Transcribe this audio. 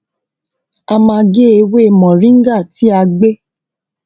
a máa gé ewé moringa tí a gbẹ